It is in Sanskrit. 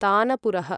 तानपूरः